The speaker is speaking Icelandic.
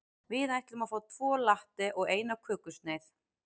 Við ætlum að fá tvo latte og eina kökusneið.